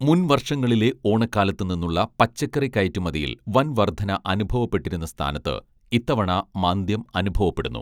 മുൻ വർഷങ്ങളിലെ ഓണക്കാലത്തു നിന്നുള്ള പച്ചക്കറി കയറ്റുമതിയിൽ വൻ വർധന അനുഭവപ്പെട്ടിരുന്ന സ്ഥാനത്ത് ഇത്തവണ മാന്ദ്യം അനുഭവപ്പെടുന്നു